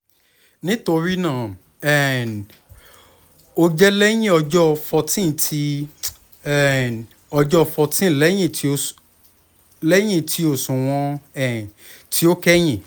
nitorinaa um o jẹ lẹhin ọjọ fourteen ti um ọjọ fourteen lẹhin ti oṣuwọn um ti o kẹhin